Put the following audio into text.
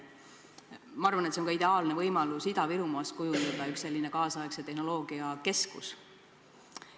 Ma arvan, et see on ka ideaalne võimalus kujundada Ida-Virumaast kaasaegse tehnoloogia keskus.